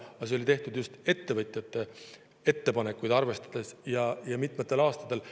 Aga see oli tehtud just ettevõtjate ettepanekuid arvestades, ja mitmel aastal.